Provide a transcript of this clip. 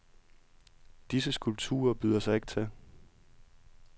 Disse skulpturer byder sig ikke til.